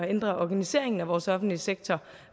at ændre organiseringen af vores offentlige sektor